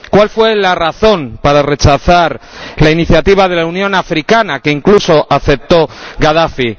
¿Cuál fue la razón para rechazar la iniciativa de la Unión Africana que incluso aceptó Gadafi?